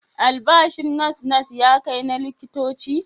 Albashin nas-nas ya kai na likitoci?